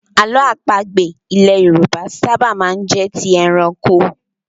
Àlọ́ àpagbè ilẹ̀ Yorùbá ṣábà máa ń jẹ́ ti ẹranko.